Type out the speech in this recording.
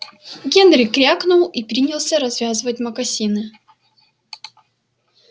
генри крякнул и принялся развязывать мокасины